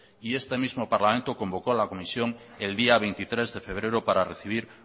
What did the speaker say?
y este mismo parlamento convocó a la comisión el día veintitrés de febrero para recibir